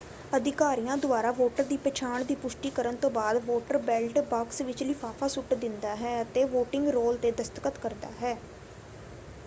ਅਧਿਕਾਰੀਆਂ ਦੁਆਰਾ ਵੋਟਰ ਦੀ ਪਛਾਣ ਦੀ ਪੁਸ਼ਟੀ ਕਰਨ ਤੋਂ ਬਾਅਦ ਵੋਟਰ ਬੈਲਟ ਬਾਕਸ ਵਿੱਚ ਲਿਫ਼ਾਫ਼ਾ ਸੁੱਟ ਦਿੰਦਾ ਹੈ ਅਤੇ ਵੋਟਿੰਗ ਰੋਲ ‘ਤੇ ਦਸਤਖਤ ਕਰਦਾ ਹੈ।